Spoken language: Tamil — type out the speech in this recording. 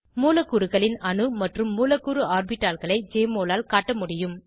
மூலக்கூறுகளின் அணு மற்றும் மூலக்கூறு ஆர்பிட்டால்களை ஜெஎம்ஒஎல் ஆல் காட்ட முடியும்